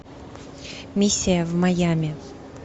миссия в майами